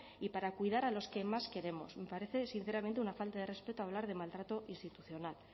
y para cuidar a los que más queremos me parece sinceramente una falta de respeto hablar de maltrato institucional